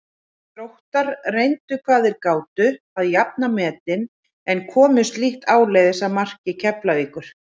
Þróttarar reyndu hvað þeir gátu að jafna metin en komust lítt áleiðis að marki Keflavíkur.